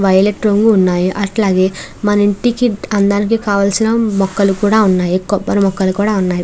Violet రంగు ఉన్నాయి అట్లాగే మన ఇంటికి అందానికి కావాల్సిన మొక్కలు కూడా ఉన్నాయి కొబ్బరి మొక్కలు కూడా ఉన్నాయ్.